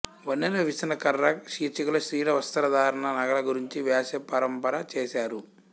వన్నెల విసనకర్ర శీర్షికలో స్త్రీల వస్త్రధారణ నగల గురించి వ్యాస పరంపర చేశారు